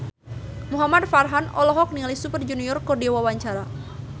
Muhamad Farhan olohok ningali Super Junior keur diwawancara